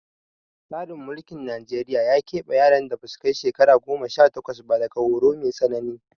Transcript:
Tsarin mulkin Najeriya ya ƙeɓe yaran da ba su kai shekara goma sha takwas ba daga horo mai tsanani